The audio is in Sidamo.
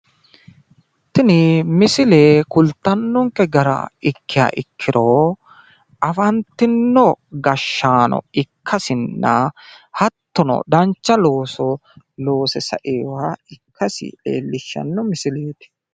tini misile kultannonke gara ikiha ikkiro afantinno gashshaano ikkasinna hattono dancha looso loose sainoha ikkasi leellishshanno misileeti.